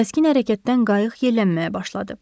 Kəskin hərəkətdən qayıq yeylənməyə başladı.